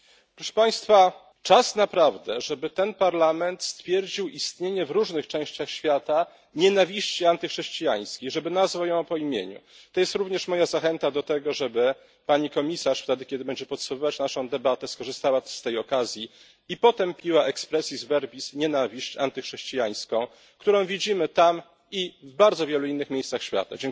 Proszę Państwa! Czas naprawdę, żeby ten parlament stwierdził istnienie w różnych częściach świata nienawiści antychrześcijańskiej, żeby nazwał ją po imieniu. To jest również moja zachęta do tego, żeby pani komisarz w momencie podsumowywania debaty skorzystała z okazji i potępiła expressis verbis nienawiść antychrześcijańską, którą widzimy tam i w bardzo wielu innych miejscach świata.